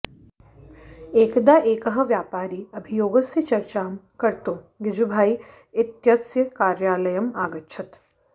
एकदा एकः व्यापारी अभियोगस्य चर्चां कर्तुं गिजुभाई इत्यस्य कार्यालयम् अगच्छत्